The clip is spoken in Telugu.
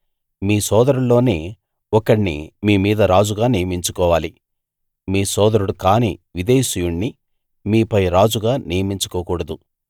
మీ సోదరుల్లోనే ఒకణ్ణి మీ మీద రాజుగా నియమించుకోవాలి మీ సోదరుడుకాని విదేశీయుణ్ణి మీపై రాజుగా నియమించుకోకూడదు